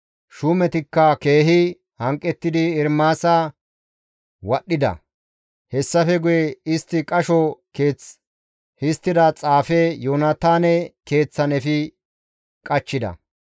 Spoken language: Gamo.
Shuumetikka keehi hanqettidi Ermaasa wadhdhida; hessafe guye istti qasho keeth histtida xaafe Yoonataane keeththan efi qachchida.